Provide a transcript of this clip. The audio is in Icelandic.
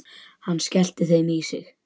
Hann skellti þeim í sig.